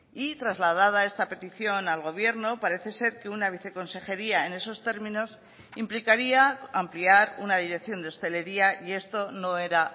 y trasladada esta petición al gobierno parece ser que una viceconsejería en esos términos implicaría ampliar una dirección de hostelería y esto no era